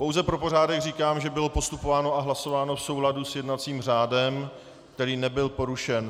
Pouze pro pořádek říkám, že bylo postupováno a hlasováno v souladu s jednacím řádem, který nebyl porušen.